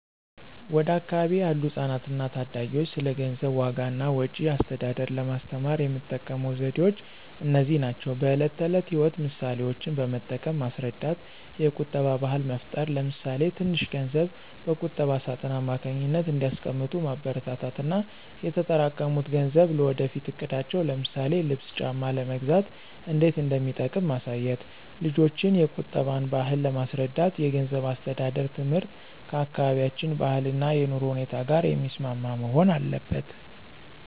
ወደ አካባቢዬ ያሉ ህጻናትና ታዳጊዎች ስለ ገንዘብ ዋጋ እና ወጪ አስተዳደር ለማስተማር የምጠቀመው ዘዴዎች እነዚህ ናቸው፦ በዕለት ተዕለት ሕይወት ምሳሌዎችን በመጠቀም ማስረዳት የቁጠባ ባህል መፍጠር ለምሳሌ ትንሽ ገንዘብ በቁጠባ ሳጥን አማካኝነት እንዲያስቀምጡ ማበረታታት እና የተጠራቀሙት ገንዘብ ለወደፊት እቅዳቸው ለምሳሌ ልብስ ጫማ ለመግዛት እንዴት እንደሚጠቅም ማሳየት። ልጆችን የቁጠባን ባህል ለማስረዳት የገንዘብ አስተዳደር ትምህርት ከአካባቢያችን ባህልና የኑሮ ሁኔታ ጋር የሚስማማ መሆን አለበት።